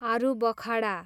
आरूबखाडा